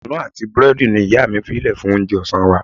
Kunu àti búrẹ́dì ni ìyá mi fí lè fún oúnjẹ ọ̀sán wa.